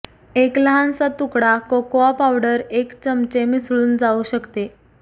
एक लहानसा तुकडा कोकाआ पावडर एक चमचे मिसळून जाऊ शकते